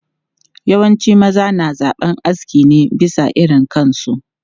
Yawancin maza na zaben aski ne bisa irin kansu.